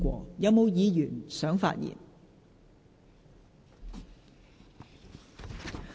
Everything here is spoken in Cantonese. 是否有議員想發言？